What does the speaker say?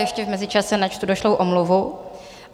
Ještě v mezičase načtu došlou omluvu.